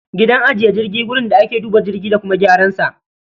Gidan ajiye jirgi wurin da ake duba jirgin da kuma gyaran sa